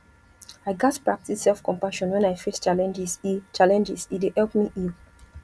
i gats practice selfcompassion when i face challenges e challenges e dey help me heal